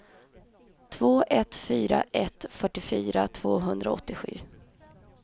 två ett fyra ett fyrtiofyra tvåhundraåttiosju